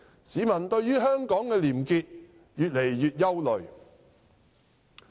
市民對於香港的廉潔越來越憂慮。